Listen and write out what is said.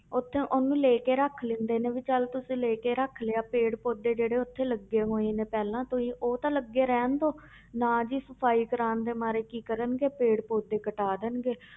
ਉੱਥੇ ਉਹਨੂੰ ਲੈ ਕੇ ਰੱਖ ਲੈਂਦੇ ਨੇ ਵੀ ਚੱਲ ਤੁਸੀਂ ਲੈ ਕੇ ਰੱਖ ਲਿਆ ਪੇੜ ਪੌਦੇ ਜਿਹੜੇ ਉੱਥੇ ਲੱਗੇ ਹੋਏ ਨੇ ਪਹਿਲਾਂ ਤੋਂ ਹੀ ਉਹ ਤਾਂ ਲੱਗੇ ਰਹਿਣ ਦਓ ਨਾ ਜੀ ਸਫ਼ਾਈ ਕਰਵਾਉਣ ਦੇ ਮਾਰੇ ਕੀ ਕਰਨਗੇ ਪੇੜ ਪੌਦੇ ਕਟਾ ਦੇਣਗੇ